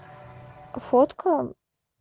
фотка